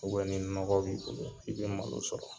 ni nɔgɔ b'i bolo i bɛ malo sɔrɔ